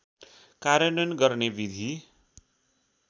कार्यान्वयन गर्ने विधि